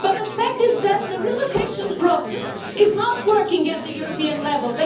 But the fact is that the relocation process is not working at European level.